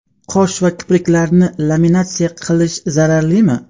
Qosh va kipriklarni laminatsiya qildirish zararlimi?